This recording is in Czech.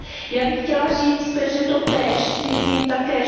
Já bych chtěla říct, že totéž si myslím také.